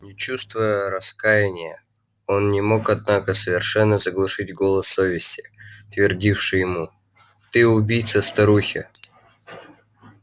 не чувствуя раскаяния он не мог однако совершенно заглушить голос совести твердивший ему ты убийца старухи